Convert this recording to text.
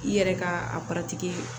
I yɛrɛ ka a